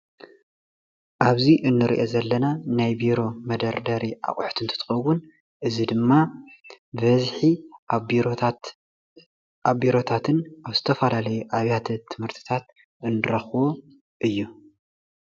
ኣብዚ እንሪኦ ዘለና ናይ ቢሮ መደርደሪ ኣቁሑ እንትከውን እዚ ድማ ብበዝሒ ኣብ ቢሮታትን ኣብ ዝተፈላለዩ ኣብያተ ትምህርትታትን እንረክቦ እዩ፡፡